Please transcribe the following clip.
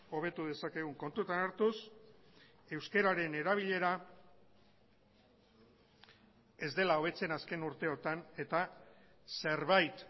hobetu dezakegun kontutan hartuz euskararen erabilera ez dela hobetzen azken urteotan eta zerbait